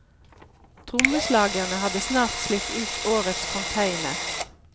Trommeslagerne har snart slitt ut årets container.